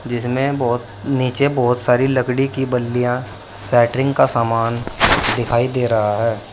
जिसमें बहुत नीचे बहुत सारी लकड़ी की बल्लियां सेंटरिंग का सामान दिखाई दे रहा है।